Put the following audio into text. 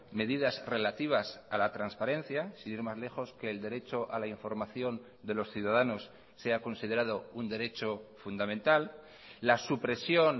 medidas relativas a la transparencia sin ir más lejos que el derecho a la información de los ciudadanos sea considerado un derecho fundamental la supresión